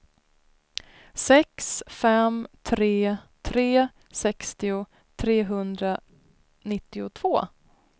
sex fem tre tre sextio trehundranittiotvå